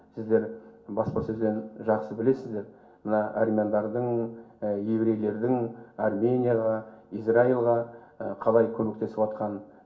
сіздер баспасөзден жақсы білесіздер мына армяндардың еврейлердің арменияға израильға қалай көмектесіватқанын